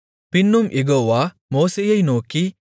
பின்னும் யெகோவா மோசேயை நோக்கி